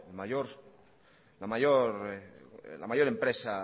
la mayor empresa